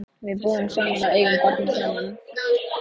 Við búum saman og eigum barnið saman.